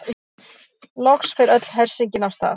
Loks fer öll hersingin af stað.